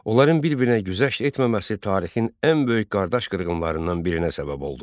Onların bir-birinə güzəşt etməməsi tarixin ən böyük qardaş qırğınlarından birinə səbəb oldu.